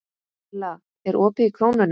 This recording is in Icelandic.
Milla, er opið í Krónunni?